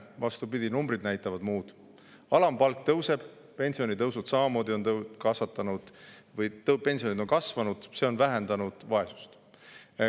Vastupidi, numbrid näitavad muud: alampalk tõuseb, pensionid on samamoodi kasvanud ja see on vähendanud vaesust.